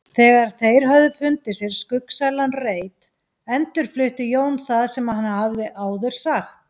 Þegar þeir höfðu fundið sér skuggsælan reit endurflutti Jón það sem hann hafði áður sagt.